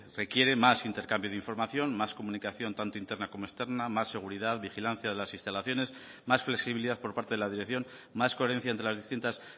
requiere más intercambio de información más comunicación tanto interna como externa más seguridad vigilancia de las instalaciones más flexibilidad por parte de la dirección más coherencia entre las distintas